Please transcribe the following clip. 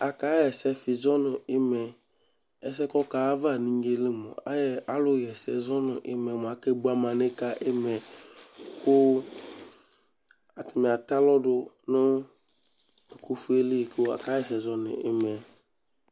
Akaɣa ɛsɛfɩ zɔ nʋ ɩma yɛ Ɛsɛ yɛ kʋ ɔkaɣa ayava nʋ inye yɛ li mʋa, ayɛ alʋɣa ɛsɛ zɔ nʋ ɩma yɛ mʋa, akebo amanɩb yɛ ka ɩma yɛ kʋ atanɩ atɛ alɔ dʋ nʋ ɛkʋfue yɛ li kʋ akaɣa ɛsɛ zɔ nʋ ɩma yɛ